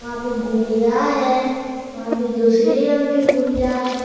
वहाँ पे गुड़िया है वहाँ पे दूसरी रंग की गुड़िया है।